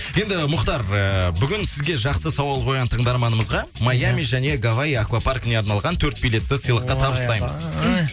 енді мұхтар ыыы бүгін сізге жақсы сауал қойған тыңдарманымызға маями және гавай аквапаркіне арналған төрт билетті сыйлыққа табыстаймыз ойбай